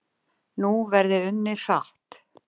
Nú verði unnið hratt